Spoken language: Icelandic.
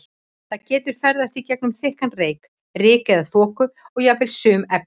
Það getur ferðast í gegnum þykkan reyk, ryk eða þoku og jafnvel sum efni.